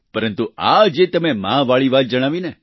પરંતુ આ જે તમે માતાની વાત જણાવીને